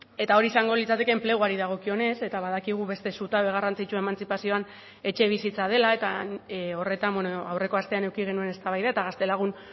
eta hori izango litzateke enpleguari dagokionez eta badakigu beste zutabe garrantzitsua emantzipazioan etxebizitza dela eta horretan aurreko astean eduki genuen eztabaida eta gaztelagun